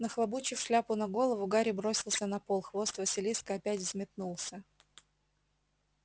нахлобучив шляпу на голову гарри бросился на пол хвост василиска опять взметнулся